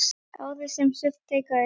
Árið sem Surtsey gaus.